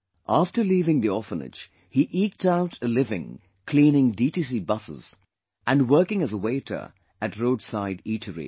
After leaving the orphanage, he eked out a living cleaning DTC buses and working as waiter at roadside eateries